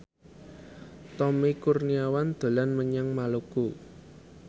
Tommy Kurniawan dolan menyang Maluku